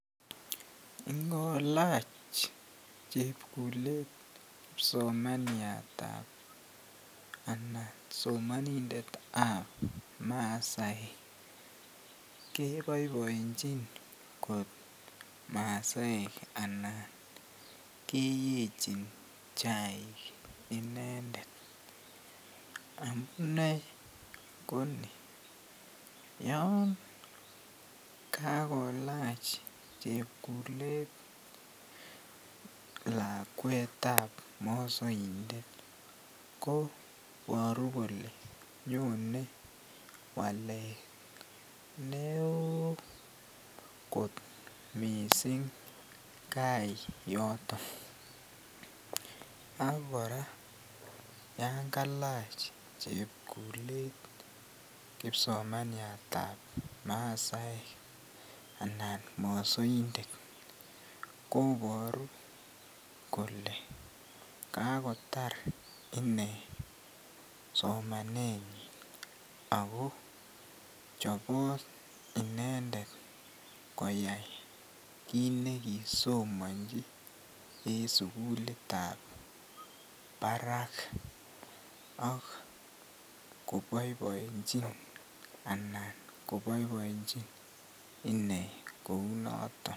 Ngolach chebkulet kipsomaniatab anan somonindetab masaek keboibornchin kot masaek anan keyechin chaik inendet amune konii, yoon kakolach chepkulet lakwetab moosoindet koboru kolee nyolu waleet neo kot mising kai yoton ak kora yoon kalach chepkulet kipsomaniatab masaek anan mosoindet koboru kolee kakotar inee somanenyin ak ko chobot inendet koyai kiit nekisomonchi en sukulitab barak ak koboeboenchin anan koboeboenchin inee kounoton.